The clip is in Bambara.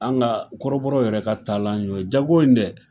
An ka, kɔrɔbɔrɔ yɛrɛ ka y'o ye, jago in dɛ,